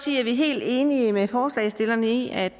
vi helt enige med forslagsstillerne i at